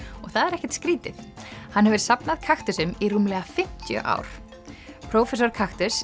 og það er ekkert skrýtið hann hefur safnað í rúmlega fimmtíu ár prófessor